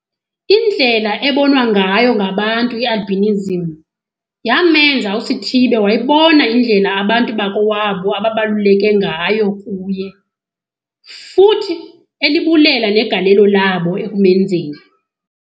Indlela ebonwa ngayo ngabantu i-albinism yamenza uSithibe wayibona indlela abantu bakowabo ababaluleke ngayo kuye, futhi elibulela negalelo labo ekumenzeni